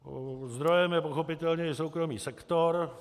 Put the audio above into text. Zdrojem je pochopitelně i soukromý sektor.